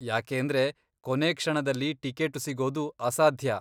ಯಾಕೇಂದ್ರೆ, ಕೊನೆ ಕ್ಷಣದಲ್ಲಿ ಟಿಕೇಟು ಸಿಗೋದು ಅಸಾಧ್ಯ.